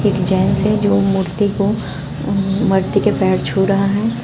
एक जेंट्स है जो मूर्ति को मरती के पैर छू रहा है।